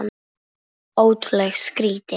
Ótrúleg skýring